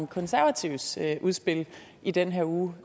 konservatives udspil i den her uge